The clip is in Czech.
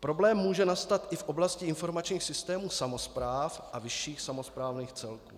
Problém může nastat i v oblasti informačních systémů samospráv a vyšších samosprávných celků.